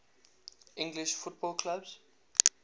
english football clubs